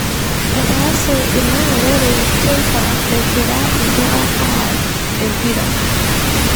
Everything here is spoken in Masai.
Etaase ina ng'orore teipa enkira inkera aaar empira.